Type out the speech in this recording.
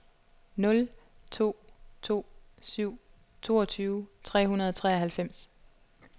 nul to to syv toogtyve tre hundrede og treoghalvfems